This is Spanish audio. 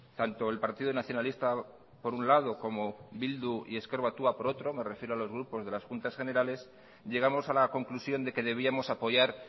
tanto el partido nacionalista por un lado como bildu y ezker batua por otro me refiero a los grupos de las juntas generales llegamos a la conclusión de que debíamos apoyar